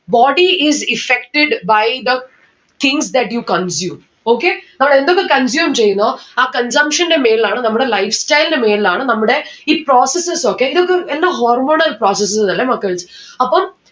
body is effected by the things that you consume. okay നമ്മൾ എന്തൊക്ക consume ചെയ്യുന്നോ ആ consumption ന്റെ മേലാണ് നമ്മടെ lifestyle ന്റെ മേലാണ് നമ്മുടെ ഈ processes ഒക്കെ ഇതൊക്കെ എന്തോ hormonal processes അല്ലെ മക്കൾസ് അപ്പം